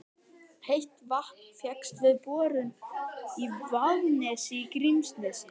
Heitt vatn fékkst við borun í Vaðnesi í Grímsnesi.